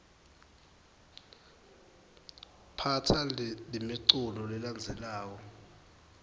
phatsa lemiculu lelandzelako